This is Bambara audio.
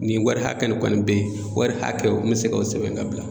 Nin wari hakɛ kɔni be yen, wari hakɛw me se ka o sɛbɛn ka bila